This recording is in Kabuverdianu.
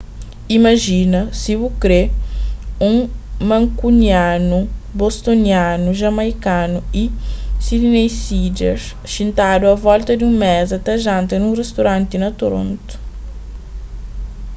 imajina si bu kre un mankunianu bostonianu jamaikanu y sydneysider xintadu a volta di un meza ta janta nun ristoranti na toronto